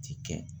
Ti kɛ